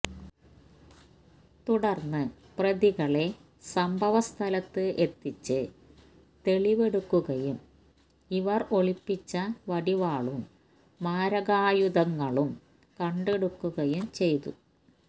തുടര്ന്ന് പ്രതികളെ സംഭവസ്ഥലത്ത് എത്തിച്ച് തെളിവെടുക്കുകയും ഇവര് ഒളിപ്പിച്ച വടിവാളും മാരകായുധങ്ങളും കണ്ടെടുക്കുകയും ചെയ്തു